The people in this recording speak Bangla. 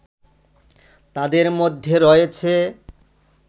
তাদের মধ্যে রয়েছে